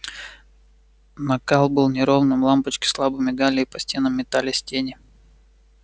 накал был неровным лампочки слабо мигали и по стенам метались тени